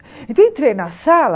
Então eu entrei na sala...